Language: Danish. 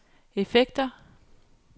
effekter